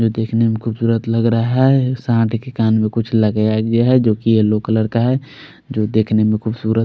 वो दिखने में खुबसूरत लग रहा है साथ ही के कान में कुछ लगाया गया है जो की येलो कलर का है जो देखने में खुसुरत--